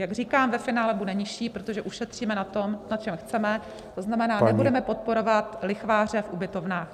Jak říkám, ve finále bude nižší, protože ušetříme na tom, na čem chceme, to znamená, nebudeme podporovat lichváře v ubytovnách.